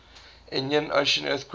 indian ocean earthquake